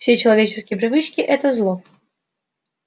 все человеческие привычки это зло